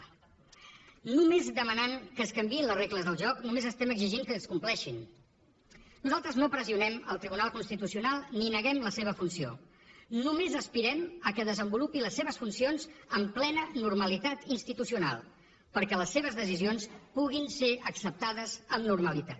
només demanant que es canviïn les regles del joc només estem exigint que es compleixin nosaltres no pressionem el tribunal constitucional ni neguem la seva funció només aspirem al fet que desenvolupi les seves funcions amb plena normalitat institucional perquè les seves decisions puguin ser acceptades amb normalitat